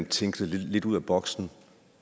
tænke lidt ud af boksen